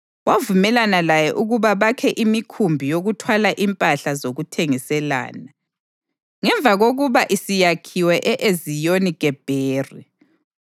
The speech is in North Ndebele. Wavumelana laye ukuba bakhe imikhumbi yokuthwala impahla zokuthengiselana. Ngemva kokuba isiyakhiwe e-Eziyoni-Gebheri,